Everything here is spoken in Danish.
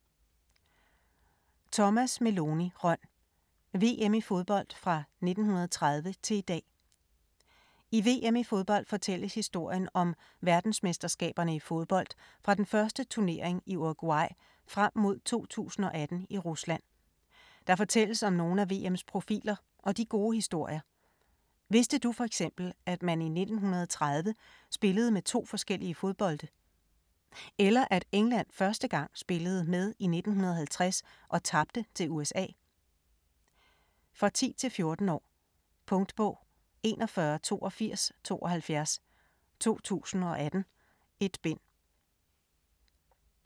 Rønn, Thomas Meloni: VM i fodbold fra 1930 til i dag I VM i fodbold fortælles historien om verdensmesterskaberne i fodbold fra den første turnering i Uruguay frem mod 2018 i Rusland. Der fortælles om nogle af VMs profiler og de gode historier. Vidste du f.eks. at man i 1930 spillede med to forskellige fodbolde? Eller at England første gang spillede med i 1950 og tabte til USA? For 10-14 år. Punktbog 418272 2018. 1 bind.